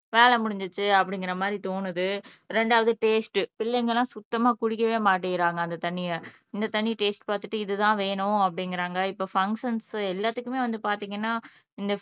வேலை முடிஞ்சிருச்சு அப்படிங்கற மாதிரி தோணுது இரண்டாவது டேஸ்ட் பிள்ளைங்க எல்லாம் சுத்தமா குடிக்கவே மாட்டேங்கிறாங்க அந்த தண்ணிய இந்த தண்ணிய டேஸ்ட் பாத்துட்டு இதுதான் வேணும் அப்படீங்கறாங்க இப்ப ஃபங்ஷன்ஸ் எல்லாத்துக்குமே வந்து பாத்தீங்கன்னா